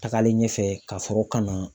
Tagalen ɲɛfɛ ka sɔrɔ ka na